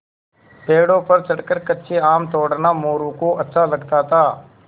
पेड़ों पर चढ़कर कच्चे आम तोड़ना मोरू को अच्छा लगता था